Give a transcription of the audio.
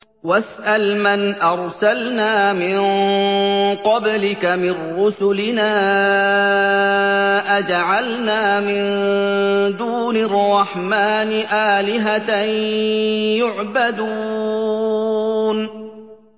وَاسْأَلْ مَنْ أَرْسَلْنَا مِن قَبْلِكَ مِن رُّسُلِنَا أَجَعَلْنَا مِن دُونِ الرَّحْمَٰنِ آلِهَةً يُعْبَدُونَ